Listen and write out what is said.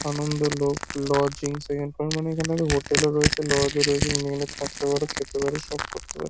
Anandalok lodgings এখানকার মানে এখানটাতে হোটেল -ও রয়েছে লজ -ও রয়েছে। তুমি এখানে থাকতে পারো খেতে পারো সব করতে পারো।